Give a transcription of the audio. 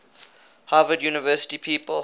harvard university people